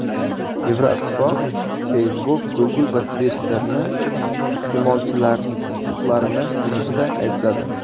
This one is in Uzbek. Yevroittifoq Facebook, Google va Twitter’ni iste’molchilar huquqlarini buzishda aybladi.